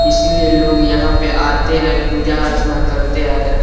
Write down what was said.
इसीलिए लोग यहाँ पे आते हैं पूजा अर्चना करते आ रहे हैं।